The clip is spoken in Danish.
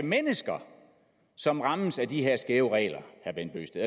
mennesker som rammes af de her skæve regler